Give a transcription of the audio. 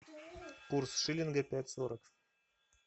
курс шиллинга пять сорок